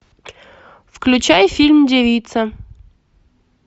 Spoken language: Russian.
включай фильм девица